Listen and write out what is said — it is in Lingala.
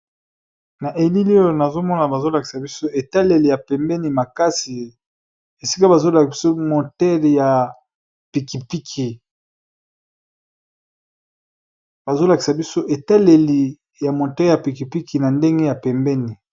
Na elili oyo nazomona bazolakisa ,biso etaleli ya pembeni makasi esik etaleli ya moteur ya moto na ndenge ya pembeni.